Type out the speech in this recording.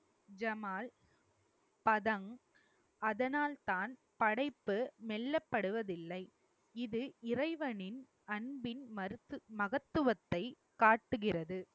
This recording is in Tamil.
ஜமால் பதம் அதனால்தான் படைப்பு மெல்லப்படுவதில்லை. இது இறைவனின் அன்பின் மருத்து~ மகத்துவத்தை காட்டுகிறது